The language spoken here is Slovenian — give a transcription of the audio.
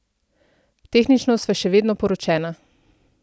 Tehnično sva še vedno poročena.